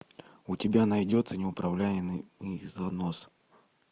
у тебя найдется неуправляемый занос